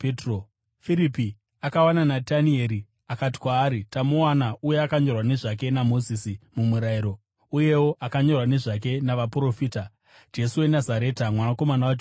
Firipi akawana Natanieri akati kwaari, “Tamuwana uya akanyorwa nezvake naMozisi muMurayiro, uyewo akanyorwa nezvake navaprofita, Jesu weNazareta, mwanakomana waJosefa.”